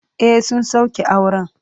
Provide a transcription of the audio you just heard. E, sun sauke auren.